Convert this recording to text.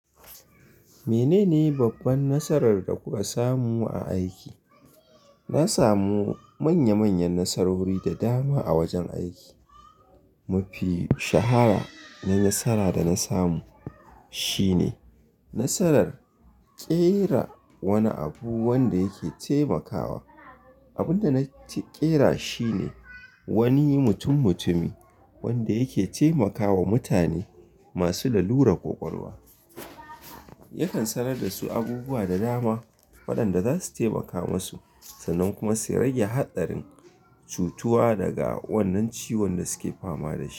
Menene babban nasarar da kuka samu a aiki? Na samu manya manyan nasarori da dama a wajen aiki. Mafi shahara na nasara da na samu shine nasarar ƙera wani abu wanda yake taimakawa. Abinda na ƙera shi ne wani mutummutumi wanda yake taimakawa mutane masu lalurar ƙwaƙwalwa. Yakan sanar da su abubuwa da dama waɗanda za su taimaka masu sannan kuma su rage haɗarin cutuwa daga wannan ciwon da suke fama da shi.